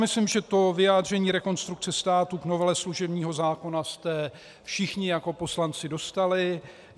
Myslím si, že vyjádření Rekonstrukce státu k novele služebního zákona jste všichni jako poslanci dostali.